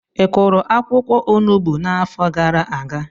Ị kụrụ akwụkwọ Onugbu n'afọ gara aga?